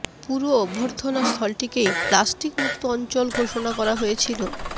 পুরো অভ্যর্থনা স্থলটিকেই প্লাস্টিক মুক্ত অঞ্চল ঘোষণা করা হয়েছিল